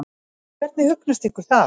Hvernig hugnast ykkur það?